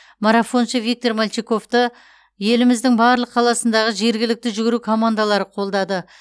марафоншы виктор мальчиковты еліміздің барлық қаласындағы жергілікті жүгіру командалары қолдады